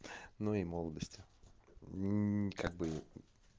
ну и молодость и как бы